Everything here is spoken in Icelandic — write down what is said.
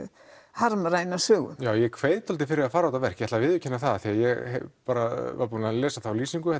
harmræna sögu já ég kveið dálítið fyrir því að horfa á þetta verk ég viðurkenni það því ég var búinn að lesa þá lýsingu